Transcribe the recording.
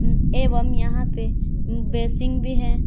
एवं यहां पे बेसिंग भी है।